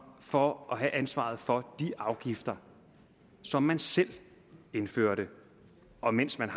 for at have ansvaret for de afgifter som man selv indførte og mens man